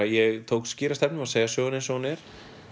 ég tók skýra stefnu um að segja söguna eins og hún er